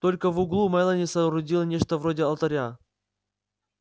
только в углу мелани соорудила нечто вроде алтаря